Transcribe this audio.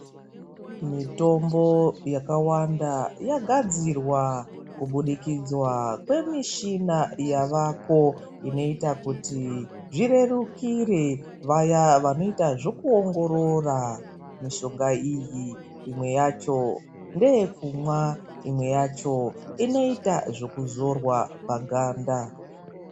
Mitombo yakawanda yagadzirwa kubudikidzwa kwemichina yavako inoita kuti zvirerukire vaya vanoita zvokuongorora mishonga iyi. Imwe yacho ndeyekumwa. Imwe yacho inoita zvekuzorwa paganda.